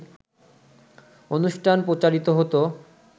অনুষ্ঠান প্রচারিত হোত